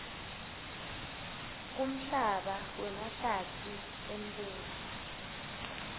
kumhlaba wemahlatsi embuso